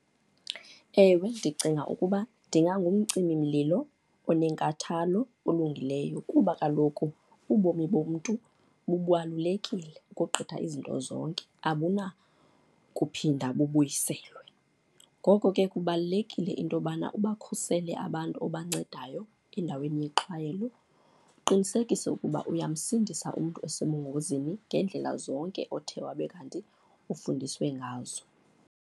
Ewe, ndicinga ukuba ndingangumcimimlilo onenkathalo, olungileyo kuba kaloku ubomi bomntu bubalulekile ukogqitha izinto zonke, abunakuphinda bubuyiselwe. Ngoko ke kubalulekile into yobana ibakhusele abantu ebancedayo endaweni yexhwayelo, uqinisekise ukuba uyamsindisa umntu osebungozini ngeendlela zonke othe wabe kanti ufundiswe ngazo.